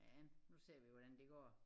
Men nu ser vi hvordan det går